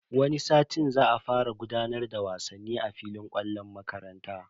Wani satin za a fara gudanar da wasanni a filin kwallon makarantar.